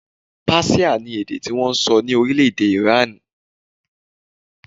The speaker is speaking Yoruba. Páṣíà ni èdè tí wọn ń sọ ní orílẹ̀-èdè Ìránì